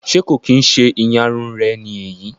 Ṣe ko kin ṣe ìyárún rẹ ni eyii?